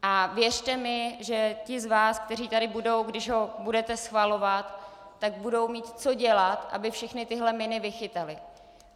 A věřte mi, že ti z vás, kteří tady budou, když ho budete schvalovat, tak budou mít co dělat, aby všechny tyhle miny vychytali.